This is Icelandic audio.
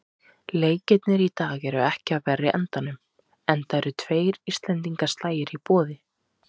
Leikirnir í dag eru ekki af verri endanum, enda eru tveir íslendingaslagir í boði.